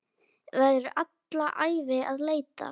Verður alla ævi að leita.